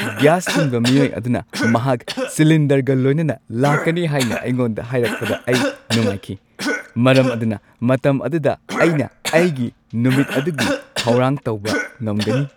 Gas ꯊꯤꯟꯕ ꯃꯤꯑꯣꯏ ꯑꯗꯨꯅ ꯃꯍꯥꯛ ꯁꯤꯂꯤꯟꯗꯔꯒ ꯂꯣꯏꯅꯅ ꯂꯥꯛꯀꯅꯤ ꯍꯥꯏꯅ ꯑꯩꯉꯣꯟꯗ ꯍꯥꯏꯔꯛꯄꯗ ꯑꯩ ꯅꯨꯡꯉꯥꯏꯈꯤ, ꯃꯔꯝ ꯑꯗꯨꯅ ꯃꯇꯝ ꯑꯗꯨꯗ ꯑꯩꯅ ꯑꯩꯒꯤ ꯅꯨꯃꯤꯠ ꯑꯗꯨꯒꯤ ꯊꯧꯔꯥꯡ ꯇꯧꯕ ꯉꯝꯒꯅꯤ꯫